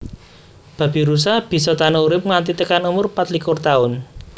Babirusa bisa tahan urip nganti tekan umur patlikur Taun